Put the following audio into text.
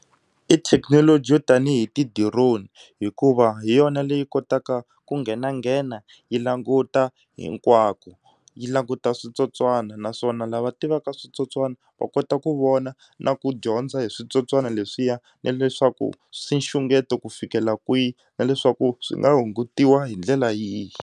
I thekinoloji yo tanihi ti-drone hikuva hi yona leyi kotaka ku nghenanghena yi languta hinkwako yi languta switsotswana naswona lava tivaka switsotswana va kota ku vona na ku dyondza hi switsotswana leswiya na leswaku swi nxungeto ku fikela kwihi na leswaku swi nga hungutiwa hi ndlela yihi.